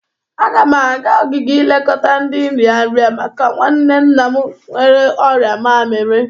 Aga m aga ogige ilekọta ndị nrịanrị maka nwanne nna m nwere ọrịa mamiri.